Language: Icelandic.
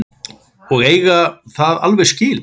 Og eiga það alveg skilið.